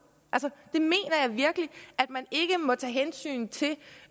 at man ikke må tage hensyn til